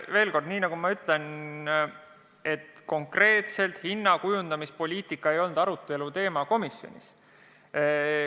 Veel kord: nagu ma ütlesin, konkreetselt hinnakujundamise poliitika komisjonis aruteluteema ei olnud.